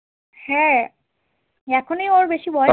হ্যাঁ এখনই ওর বেশি বয়স